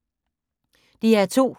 DR2